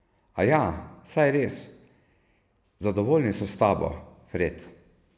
Aja, saj res, zadovoljni so s tabo, Fred.